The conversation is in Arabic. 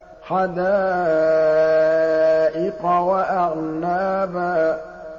حَدَائِقَ وَأَعْنَابًا